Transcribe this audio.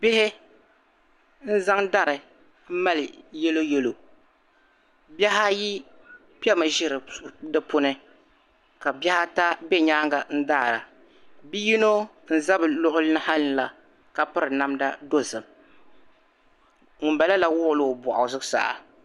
Bihi zaŋ dari m mali yelo yelo bihi ayi kpɛmi ʒi di puuni ka bihi ata bɛ nyaaŋa daara bi'yino n za bɛ lɔɣili ha la ka piri namda dozim ŋuni bala wɔɣila o pɔɣi zuɣusaa